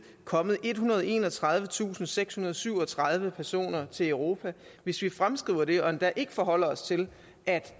kommet ethundrede og enogtredivetusindsekshundrede og syvogtredive personer til europa hvis vi fremskriver det og endda ikke forholder os til at